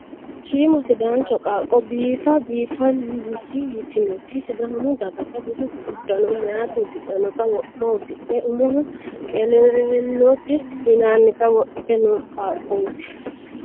Shiima sidaancho qaaqqo biifa biifaansi yitinoti sidaamu dagata budu uddano meeyati uddidhanota wo'ma uddidhe umohono qelellote yinannita wodhite no qaaqqooti.